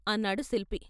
" అన్నాడు శిల్పి.